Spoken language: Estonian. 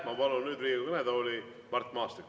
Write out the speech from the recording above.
Ma palun nüüd Riigikogu kõnetooli Mart Maastiku.